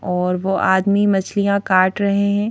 और वो आदमी मछलियां काट रहे हैं।